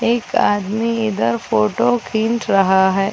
एक आदमी इधर फोटो खिंच रहा है।